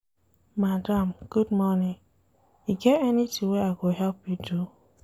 Madam good morning, e get anytin wey I go help you do?